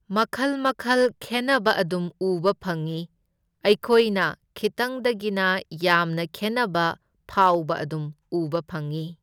ꯃꯈꯜ ꯃꯈꯜ ꯈꯦꯟꯅꯕ ꯑꯗꯨꯝ ꯎꯕ ꯐꯪꯢ, ꯑꯩꯈꯣꯏꯅ ꯈꯤꯇꯪꯗꯒꯤꯅ ꯌꯥꯝꯅ ꯈꯦꯟꯅꯕ ꯐꯥꯎꯕ ꯑꯗꯨꯝ ꯎꯕ ꯐꯪꯢ꯫